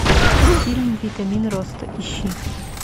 фильм витамин роста ищи